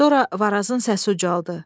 Sonra Varazın səsi ucaldı.